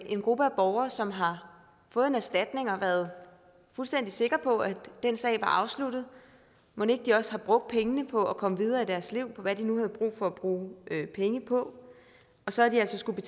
en gruppe borgere som har fået en erstatning og har været fuldstændig sikre på at den sag var afsluttet mon ikke også de har brugt pengene på at komme videre i deres liv og til hvad de nu havde brug for at bruge penge på og så har de altså skullet